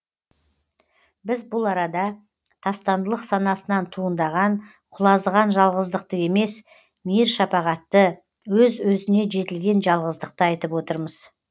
біз бұл арада тастандылық санасынан туындаған құлазыған жалғыздықты емес мейір шапағатты өз өзіне жетілген жалғыздықты айтып отырмыз